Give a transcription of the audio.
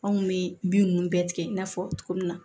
Anw kun bɛ bin ninnu bɛɛ tigɛ i n'a fɔ cogo min na